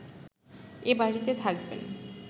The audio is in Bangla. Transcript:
এ বাড়িতে থাকবেন